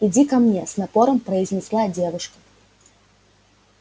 иди ко мне с напором произнесла девушка